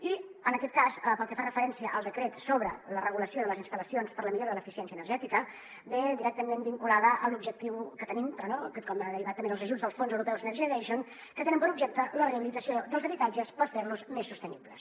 i en aquest cas pel que fa referència al decret sobre la regulació de les instal·lacions per a la millora de l’eficiència energètica ve directament vinculada a l’objectiu que tenim però com a derivat també dels ajuts dels fons europeus next generation que tenen per objecte la rehabilitació dels habitatges per fer los més sostenibles